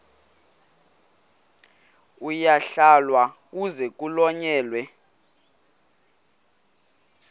uyalahlwa kuze kuhlonyelwe